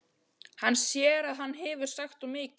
Hann sér að hann hefur sagt of mikið.